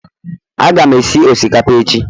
Aga m esi osikapa echi